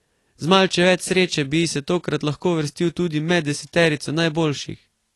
Z malce več sreče bi se tokrat lahko uvrstil tudi med deseterico najboljših.